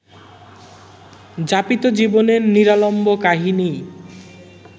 যাপিত জীবনের নিরালম্ব কাহিনিই